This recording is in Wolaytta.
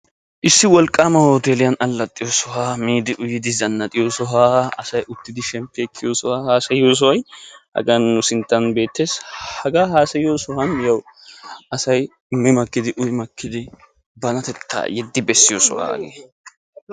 issi wolqaama hoteeliyan alaxxiyo sohuwa miidi uyyidi alaxxiyo sohuwa banatettaa yeddi bessiyo sohuwa hagee.